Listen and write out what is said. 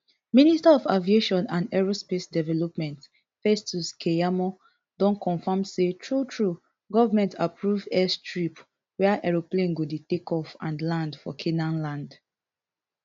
minister of aviation and aerospace development festus keyamo don confam say truetrue goment approve airstrip wia aeroplane go dey takeoff and land for canaanland